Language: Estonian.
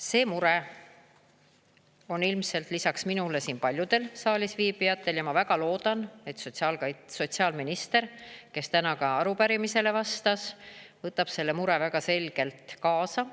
See mure on ilmselt lisaks minule siin paljudel saalis viibijatel ja ma väga loodan, et sotsiaalminister, kes täna ka arupärimisele vastas, võtab selle mure väga selgelt kaasa.